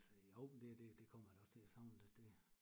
Altså jo det det det kommer jeg da også til at savne da det